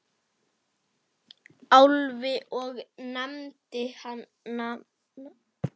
Álfi og nefndi nafn hans.